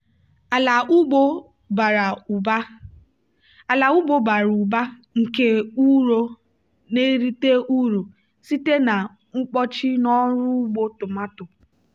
ala ugbo bara ụba nke ụrọ na-erite uru site na mkpọchi n'ọrụ ugbo tomato.